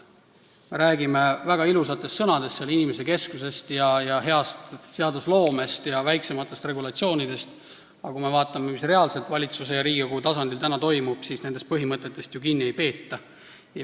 Me räägime väga ilusate sõnadega – inimesekesksus, hea seadusloome ja väiksemad regulatsioonid –, aga kui me vaatame, mis reaalselt valitsuse ja Riigikogu tasandil toimub, siis näeme, et nendest põhimõtetest ju kinni ei peeta.